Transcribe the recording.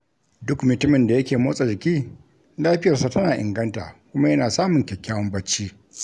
Duk mutumin da yake motsa jiki lafiyarsa tana inganta kuma yana samun kyakkyawan bacci